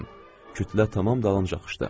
Kütlə tamam dalınca axışdı.